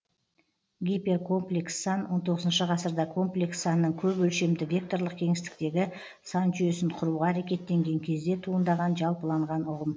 гиперкомплекс сан он тоғызыншы ғасырда комплекс санның көп өлшемді векторлық кеңістіктегі сан жүйесін құруға әрекеттенген кезде туындаған жалпыланған ұғым